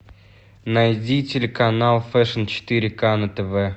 найди телеканал фэшн четыре к на тв